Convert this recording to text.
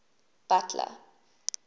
butler